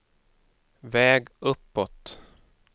väg uppåt